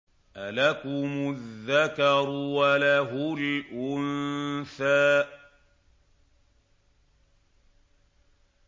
أَلَكُمُ الذَّكَرُ وَلَهُ الْأُنثَىٰ